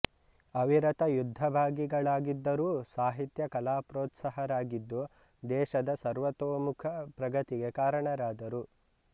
ಅವಿರತ ಯುದ್ಧಭಾಗಿಗಳಾಗಿದ್ದರೂ ಸಾಹಿತ್ಯ ಕಲಾಪ್ರೋತ್ಸಾಹರಾಗಿದ್ದು ದೇಶದ ಸರ್ವತೋಮುಖ ಪ್ರಗತಿಗೆ ಕಾರಣರಾದರು